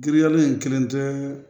Giriya in kelen tɛ